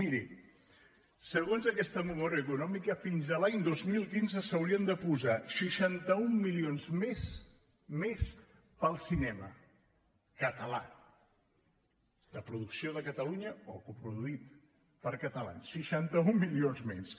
miri segons aquesta memòria econòmica fins a l’any dos mil quinze s’haurien de posar seixanta un milions més més per al cinema català de producció de catalunya o coproduït per catalans seixanta un milions més